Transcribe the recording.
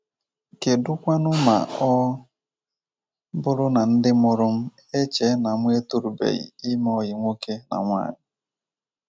Kedu kwanu ma ọ bụrụ na Ndị Mụrụ M Echee na Mụ Etorubeghị Ime ọyị nwaoke na nwaanyị?